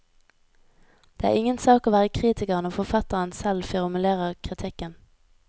Det er ingen sak å være kritiker når forfatteren selv formulerer kritikken.